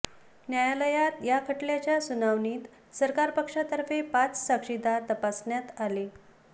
न्यायालयात या खटल्याच्या सुनावणीत सरकार पक्षातर्फे पाच साक्षीदार तपासण्यात आले